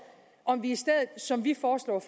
om vi i stedet som vi foreslår